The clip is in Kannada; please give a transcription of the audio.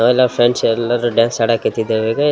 ನಾವೆಲ್ಲ ಫ್ರೆಂಡ್ಸ್ ಎಲ್ಲರೂ ಡ್ಯಾನ್ಸ್ ಆಡಕತ್ತಿದ್ದಾರೆ .